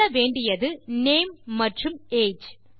சொல்ல வேண்டியது நேம் மற்றும் ஏஜ்